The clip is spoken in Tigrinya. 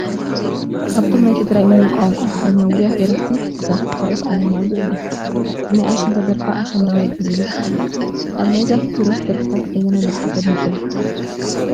ካብቶም ናይ ትግራይ ናይ ቋንቋ ትግርኛ ውሩያት ደረፍቲ ዛፉ ኪሮስ ኣለማዮህ እያ፡፡ ብናይ ኣሸንዳ ደርፋ ኣሸንዳዋይ ብዝብል ትፍለጥ፡፡ ካብ ናይ ዛፉ ኪሮስ ደርፍታት ኣየናይ ደርፊ ተድንቑላ?